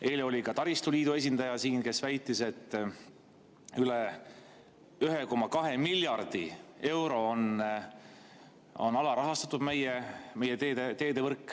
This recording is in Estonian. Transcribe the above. Eile oli siin ka taristu liidu esindaja, kes väitis, et meie teedevõrk on üle 1,2 miljardi euro võrra alarahastatud.